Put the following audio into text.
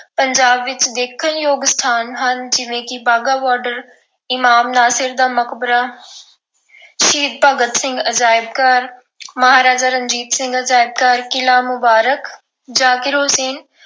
ਪੰਜਾਬ ਵਿੱਚ ਦੇਖਣਯੋਗ ਸਥਾਨ ਹਨ ਜਿਵੇਂ ਕਿ ਵਾਹਗਾ border ਇਮਾਮ ਨਾਸਿਰ ਦਾ ਮਕਬਰਾ ਸ਼ਹੀਦ ਭਗਤ ਸਿੰਘ ਅਜਾਇਬ ਘਰ, ਮਹਾਰਾਜਾ ਰਣਜੀਤ ਸਿੰਘ ਅਜਾਇਬ ਘਰ, ਕਿਲ੍ਹਾ ਮੁਬਾਰਕ ਜ਼ਾਕਿਰ ਹੁਸੈਨ